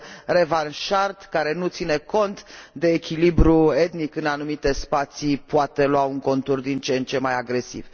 revanșard, care nu ține cont de echilibrul etnic în anumite spații, poate lua un contur din ce în ce mai agresiv.